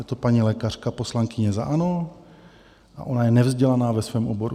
Je to paní lékařka, poslankyně za ANO, a ona je nevzdělaná ve svém oboru.